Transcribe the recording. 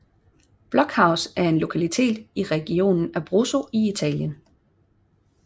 Blockhaus er en lokalitet i regionen Abruzzo i Italien